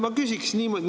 Ma küsiks niimoodi.